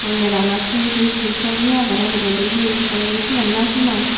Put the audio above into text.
mondiranot hee hee hee sobi agon uguredi hee sobi siyun no sinong.